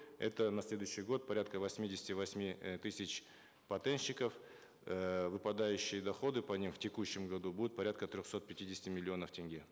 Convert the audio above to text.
это на следующий год порядка восьмидесяти восьми э тысяч патентщиков эээ выпадающие доходы по ним в текущем году будут порядка трехсот пятидесяти миллионов тенге